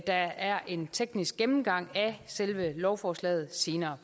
der er en teknisk gennemgang af selve lovforslaget senere